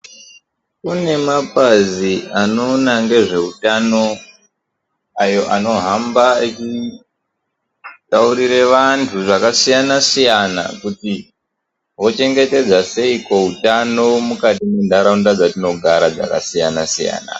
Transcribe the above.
Kune mabazi anoona nezveutano ayo anohamba echitaurira vantu zvakasiyana siyana kuti vochengetedza seiiko hutano mukati mendaraunda dzatinogara dzakasiyana siyana.